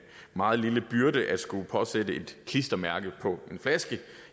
meget lille byrde at skulle påsætte et klistermærke på